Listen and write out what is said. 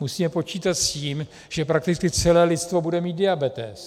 Musíme počítat s tím, že prakticky celé lidstvo bude mít diabetes.